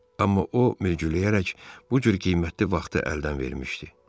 Amma o ləngüləyərək bu cür qiymətli vaxtı əldən vermişdi.